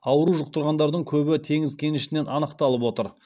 ауру жұқтарғандардың көбі теңіз кенішінен анықталып отыр